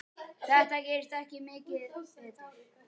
Þetta gerist ekki mikið betra.